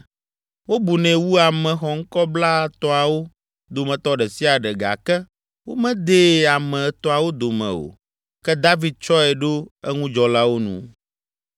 Wobunɛ wu ame xɔŋkɔ Blaetɔ̃awo dometɔ ɖe sia ɖe gake womedee ame Etɔ̃awo dome o. Ke David tsɔe ɖo eŋudzɔlawo nu.